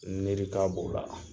Nerika b'ola